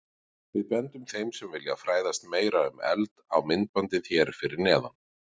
Við bendum þeim sem vilja fræðast meira um eld á myndbandið hér fyrir neðan.